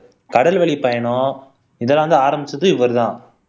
கடல் வழி பயணம் இதெல்லாம் வந்து ஆரம்பிச்சது இவர்தான்